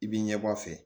I b'i ɲɛbɔ a fɛ